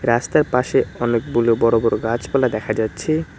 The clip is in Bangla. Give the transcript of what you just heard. রাস্তার পাশে অনেকগুলো বড় বড় গাছপালা দেখা যাচ্ছে।